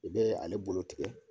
I bɛ ale bolo tigɛ